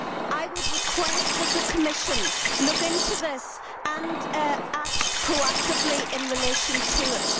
I would request that the Commission look into this and act proactively in relation to it.